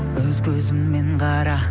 өз көзіңмен қара